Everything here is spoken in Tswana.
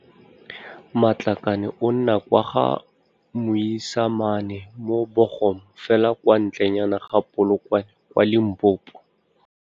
Matlakane o nna kwa Ga-Moisamane mo Buchum fela kwa ntlenyane ga Polokwane kwa Limpopo.